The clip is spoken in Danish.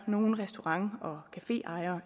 nogle restaurant og caféejere